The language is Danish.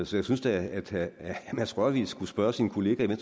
så jeg synes da at herre mads rørvig skulle spørge sin kollega i